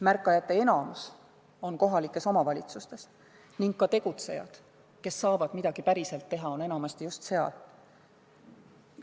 Märkajate enamus on kohalikes omavalitsustes ning ka tegutsejad, kes saavad midagi päriselt ära teha, on enamasti just seal.